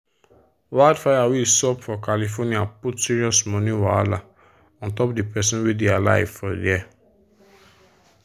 wildfire wey sup for california put serious money wahala untop the people wey dey live for there.